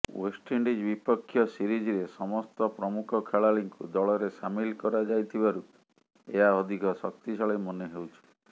West Indies ବିପକ୍ଷ ସିରିଜ୍ରେ ସମସ୍ତ ପ୍ରମୁଖ ଖେଳାଳିଙ୍କୁ ଦଳରେ ସାମିଲ କରା ଯାଇଥିବାରୁ ଏହା ଅଧିକ ଶକ୍ତିଶାଳୀ ମନେହେଉଛି